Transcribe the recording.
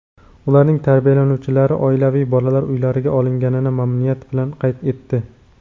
ularning tarbiyalanuvchilari oilaviy bolalar uylariga olinganini mamnuniyat bilan qayd etdi.